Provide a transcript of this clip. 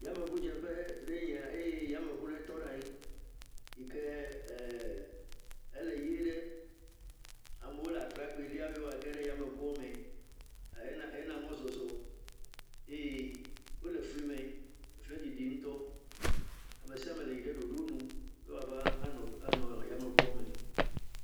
Yame ʋu dze ƒfe aɖe nye ya eye yame ʋu ɖe tɔ̃ afi ma yi ke ele ɣi ɖe amewo la trakpeli wòa geɖe yame ʋua me he na mɔzɔzɔ eye wo le fli me fli dzidzi ŋutɔ amesiame yi de dodo nu be wòa nɔ yame ʋua me.